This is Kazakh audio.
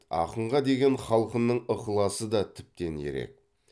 ақынға деген халқының ықыласы да тіптен ерек